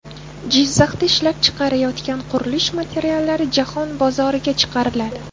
Jizzaxda ishlab chiqarilayotgan qurilish materiallari jahon bozoriga chiqariladi.